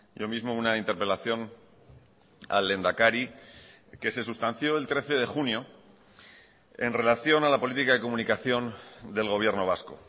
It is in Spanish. yo mismo una interpelación al lehendakari que se sustanció el trece de junio en relación a la política de comunicación del gobierno vasco